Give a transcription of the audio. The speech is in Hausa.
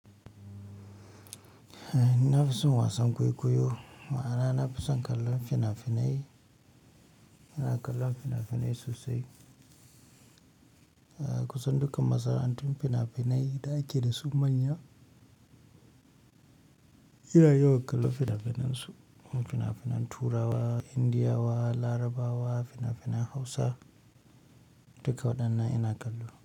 Nafison wasan kwaikwayo, ma'ana nafison kallon fina-finai, ina kallon fina-finai sosai. A kusan dukkan masana'antun fina-finai da ake dasu manya ina yawan kallon fina-finan su. Fina-finan Turawa, Indiyawa, Larabawa, fina-finan Hausa duka waɗannan ina kallo.